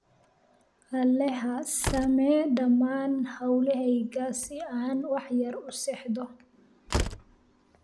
alexa samee dhamaan hawlahayga si aan wax yar u seexdo